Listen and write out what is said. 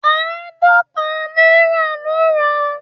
Àádọ́ta náírà ló ń ran